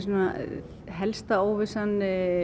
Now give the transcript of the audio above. helsta óvissan